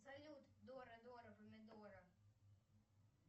салют дора дора помидора